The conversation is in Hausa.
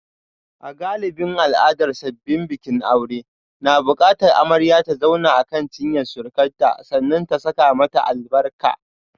A galibin al'adar sabbin bikin aure na bukatar amarya ta zauna akan cinyar surukarta sannan ta saka mata albarka.